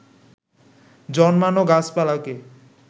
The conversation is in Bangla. জন্মানো গাছপালাকে